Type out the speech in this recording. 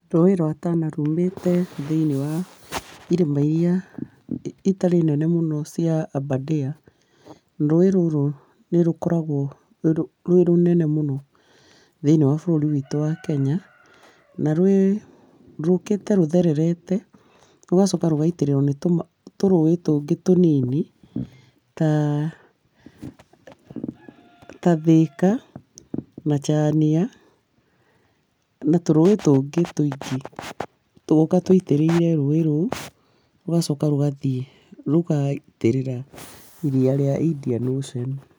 Rũĩ rwa Tana thĩiniĩ wa irĩma iria itarĩ nene mũno cia Aberdare, rũĩ rũrũ nĩ rũkoragwo rwĩ rũnene mũno thĩiniĩ wa bũrũri witũ wa Kenya, na rwĩ, rũkĩte rũthererete, rũgacoka rũgaitĩrĩrwo nĩ tũrũĩ tũngĩ tũnini, ta Thika na Chania, na tũrũĩ tũngĩ tũingĩ, tũgoka tũitĩrĩire rũĩ rũu rũgacoka rũgathiĩ rũgaitĩrĩra iria rĩa Indian Ocean.